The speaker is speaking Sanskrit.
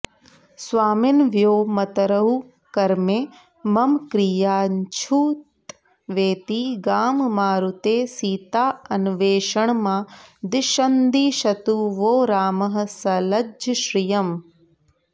स्वामिन्व्योमतरुः क्रमे मम कियाञ्छ्रुत्वेति गां मारुतेः सीतान्वेषणमादिशन्दिशतु वो रामः सलज्जः श्रियम्